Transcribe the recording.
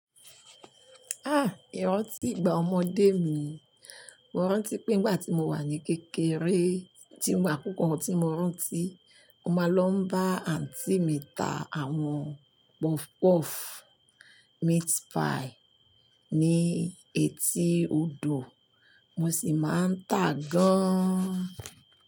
Ah! Ìrántí ìgbà ọmọdé mi, mo rántí pé nígbà tí mo wà ní kékeré, tí mo akúkọ tí mo rántí, mo máa ń lọ bá àǹtí mi ta àwọn puff puff, meat pie ní etí odò, mo sì máa ń tà gan-an.